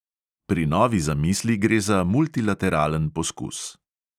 Pri novi zamisli gre za multilateralen poskus.